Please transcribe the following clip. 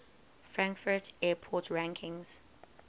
frankfurt airport ranks